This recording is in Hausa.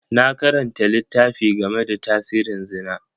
Na karanta littafi game da tasirin Zina.